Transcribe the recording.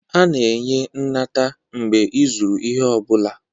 A na-enye nnata mgbe ịzụrụ ihe ọ bụla